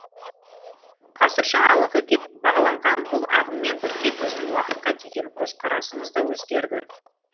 ғасыр жаңалығы деп бағаланған бұл ағыммен бірге біздің уақытқа деген көзқарасымыз да өзгерді